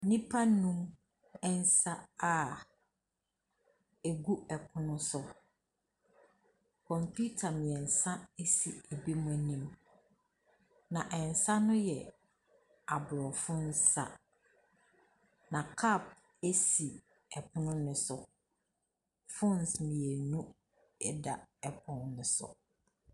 Nnipa nnum nsa a ɛgu pono so. Kɔmputa mmeɛnsa si binom anim. Na nsa no yɛ Aborɔfo nsa. Na cup si pono no so. Phones mmienu da pono no so.